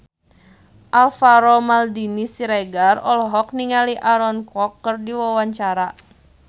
Alvaro Maldini Siregar olohok ningali Aaron Kwok keur diwawancara